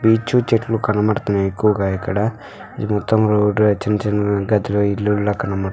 Beach చెట్లు కనబడుతున్నాయి ఎక్కువగా ఇక్కడ. ఈ మొత్తం రోడ్లు ఆ చిన్న చిన్న ఇళ్ళు కనబడుతున్నాయి.